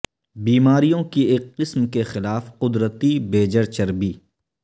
بیماریوں کی ایک قسم کے خلاف قدرتی بیجر چربی